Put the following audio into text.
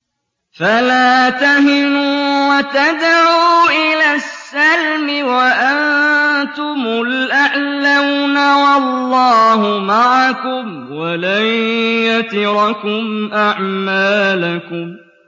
فَلَا تَهِنُوا وَتَدْعُوا إِلَى السَّلْمِ وَأَنتُمُ الْأَعْلَوْنَ وَاللَّهُ مَعَكُمْ وَلَن يَتِرَكُمْ أَعْمَالَكُمْ